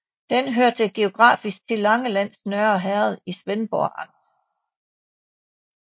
Den hørte geografisk til Langelands Nørre Herred i Svendborg Amt